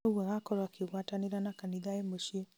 ũguo agakorwo akigwatanĩra na kanitha e mũciĩ